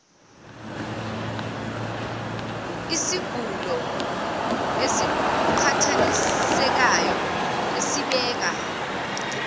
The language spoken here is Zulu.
isigulo esiqhathanisekayo esibeka